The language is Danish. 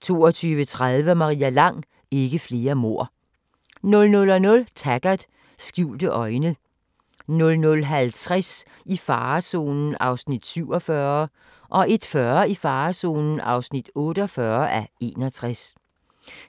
22:30: Maria Lang: Ikke flere mord 00:00: Taggart: Skjulte øjne 00:50: I farezonen (47:61) 01:40: I farezonen (48:61)